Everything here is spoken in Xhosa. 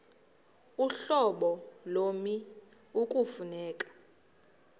uhlobo lommi ekufuneka